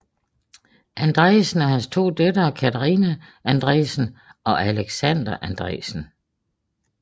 Andresen og hans to døtre Katharina Andresen og Alexandra Andresen